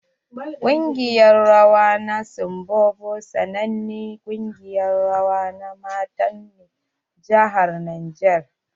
Kungiƴar rawa na sibombo sanannen kungiƴar rawa na mata ne a jihar niger.